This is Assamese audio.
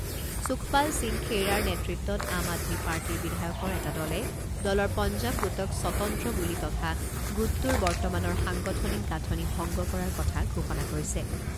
সুখপাল সিং খেইৰাৰ নেতৃত্বত আম আদমী পাৰ্টীৰ বিধায়কৰ এটা দলে দলৰ পঞ্জাব গোটক স্বতন্ত্ৰ বুলি তথা গোটটোৰ বৰ্তমানৰ সাংগঠনিক গাঁঠনি ভংগ কৰাৰ কথা ঘোষণা কৰিছে।